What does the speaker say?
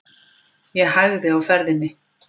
Ég hægði á ferðinni.